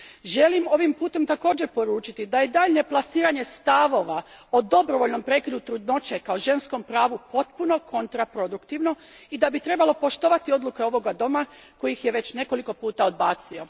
Želim ovim putem također poručiti da je daljnje plasiranje stavova o dobrovoljnom prekidu trudnoće kao ženskom pravu potpuno kontraproduktivno i da bi trebalo poštovati odluke ovoga doma koji ih je već nekoliko puta odbacio.